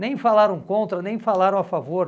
Nem falaram contra, nem falaram a favor.